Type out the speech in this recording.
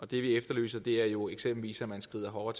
vi efterlyser er jo eksempelvis at man skrider hårdere